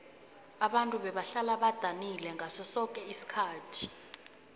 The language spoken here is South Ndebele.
ababntu bebahlala badanile ngaso soke isikhathi